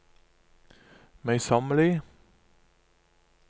møysommelig